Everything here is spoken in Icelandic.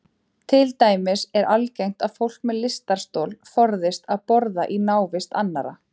Til dæmis er algengt að fólk með lystarstol forðist að borða í návist annarra.